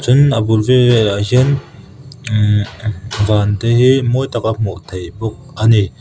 tin a bul ummm van te hi mawi tak a hmuh theih bawk a ni.